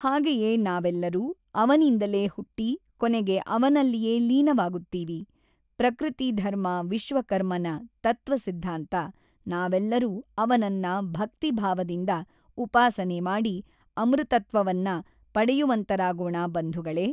ಹಾಗೆಯೆ ನಾವೆಲ್ಲರೂ ಅವನಿಂದಲೆ ಹುಟ್ಟಿ ಕೊನೆಗೆ ಅವನಲ್ಲಿಯೆ ಲೀನವಾಗುತ್ತೀವಿ ಪ್ರಕೃತಿ ಧರ್ಮ ವಿಶ್ವಕರ್ಮನ ತತ್ವ ಸಿದ್ಧಾಂತ ನಾವೆಲ್ಲರು ಅವನನ್ನ ಭಕ್ತಿಭಾವದಿಂದ ಊಪಾಸನೆ ಮಾಡಿ ಅಮೃತತ್ವವನ್ನ ಪಡೆಯುವಂತರಾಗೋಣ ಬಂಧುಗಳೆ.